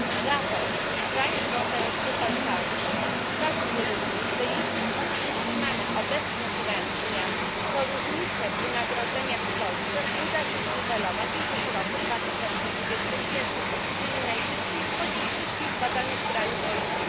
Raport PricewaterhouseCoopers wskazuje również, że jeśli utrzymamy obecny trend zmian, to różnicę w wynagrodzeniach w Polsce uda się zniwelować już w roku 2021, czyli najszybciej spośród wszystkich badanych krajów OECD.